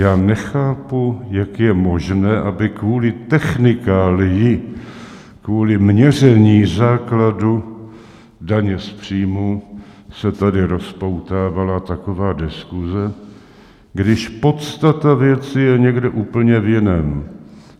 Já nechápu, jak je možné, aby kvůli technikálii, kvůli měření základu daně z příjmů, se tady rozpoutávala taková diskuse, když podstata věci je někde úplně v jiném.